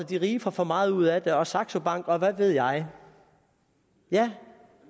de rige får for meget ud af det og saxo bank og hvad ved jeg jeg